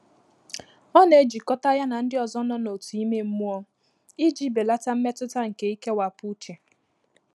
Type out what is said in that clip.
Ọ́ nà-èjíkọ́tà yá nà ndị́ ọ́zọ́ nọ́ n’òtù ímé mmụ́ọ́ ìjí bèlàtà mmétụ́tà nké íkéwàpụ́ úchè.